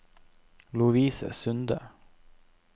Lovise Sunde